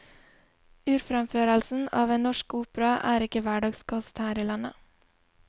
Urfremførelsen av en norsk opera er ikke hverdagskost her i landet.